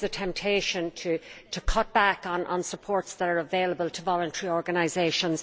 There is a temptation to cut back on the support that is available to voluntary organisations.